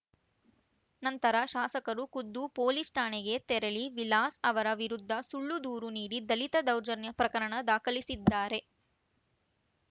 ನಂತರ ಶಾಸಕರು ಖುದ್ದು ಪೊಲೀಸ್‌ ಠಾಣೆಗೆ ತೆರಳಿ ವಿಲಾಸ್‌ ಅವರ ವಿರುದ್ಧ ಸುಳ್ಳು ದೂರು ನೀಡಿ ದಲಿತ ದೌರ್ಜನ್ಯ ಪ್ರಕರಣ ದಾಖಲಿಸಿದ್ದಾರೆ